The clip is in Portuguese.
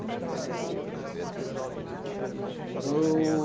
E os nomes dos seus avós? Você lembra? O...